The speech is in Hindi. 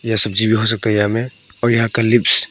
यह सब्जी भी हो सकता है यहाँ मे और यहां का लिव्स --